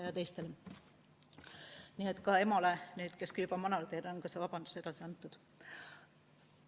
Nii et ka emale, kes on küll juba manalateel, on vabandus edasi antud.